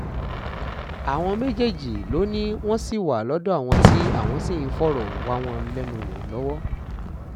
àwọn méjèèjì ló ní wọ́n ṣì wà lọ́dọ̀ àwọn tí àwọn sì ń fọ̀rọ̀ wá wọn lẹ́nu wò lọ́wọ́